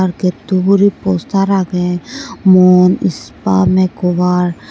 ar gatto ugure poster agey mon spa makeover.